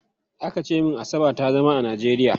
Aka ce min Asa ba ta zama a Najeriya.